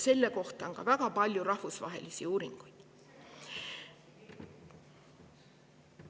Selle kohta on ka väga palju rahvusvahelisi uuringuid.